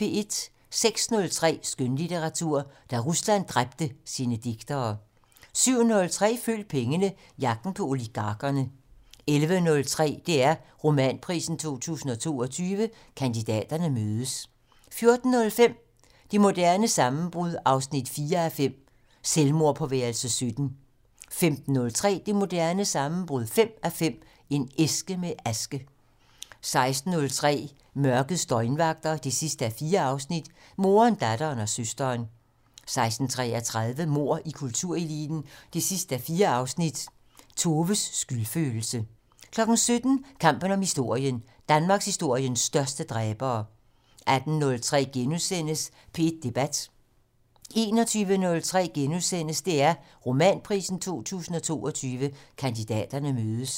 06:03: Skønlitteratur: Da Rusland dræbte sine digtere 07:03: Følg pengene: Jagten på oligarkerne 11:03: DR Romanprisen 2022 - Kandidaterne mødes 14:05: Det moderne sammenbrud 4:5 - Selvmordet på værelse 17 15:03: Det moderne sammenbrud 5:5 - En æske med aske 16:03: Mørkets døgnvagter 4:4 - Moderen, datteren og søsteren 16:33: Mord i kultureliten 4:4 - Toves skyldfølelse 17:05: Kampen om historien: Danmarkshistoriens største dræbere 18:03: P1 Debat * 21:03: DR Romanprisen 2022 - Kandidaterne mødes *